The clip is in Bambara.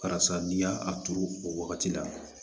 Karisa n'i y'a a turu o wagati la